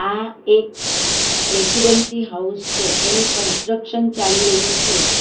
આ એક residency house છે એનું કન્સ્ટ્રક્શન ચાલી રહ્યું છે.